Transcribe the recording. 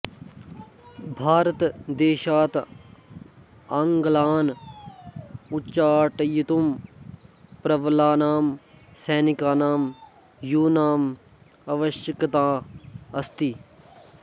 भारतदेशात् आङ्गलान् उच्चाटयितुं प्रबलानां सैनिकानां यूनाम् आवश्यकता अस्ति